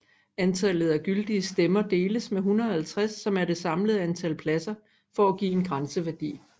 Antallet af gyldige stemmer deles med 150 som er det samlede antal pladser for at give en grænseværdi